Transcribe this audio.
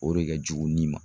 O de kɛ jugu ni ma.